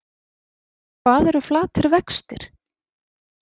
Hvað eru flatir vextir?